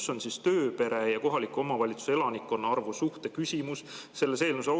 Kus on siis tööpere ja kohaliku omavalitsuse elanikkonna arvu suhte küsimus selles eelnõus?